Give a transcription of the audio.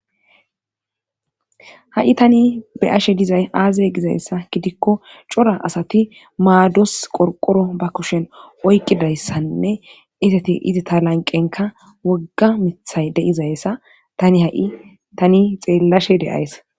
ha7i tani be ashe dizay aazey gizayssa gidikko cora asati maados qorqoro ba kushen oykqidayssanne isati izi ta lanqenka wogga mithay deizayssa tani ha7i tani xeellashe deyaysa